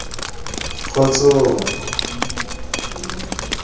kgotsong